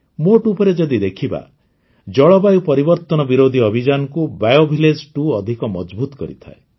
ମୋଟଉପରେ ଯଦି ଦେଖିବା ଜଳବାୟୁ ପରିବର୍ତ୍ତନ ବିରୋଧି ଅଭିଯାନକୁ BioVillage2 ଅଧିକ ମଜଭୁତ କରିଥାଏ